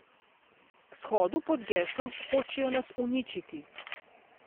K shodu pod geslom Hočejo nas uničiti.